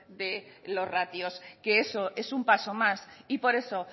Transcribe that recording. de los ratios que eso es un paso más y por eso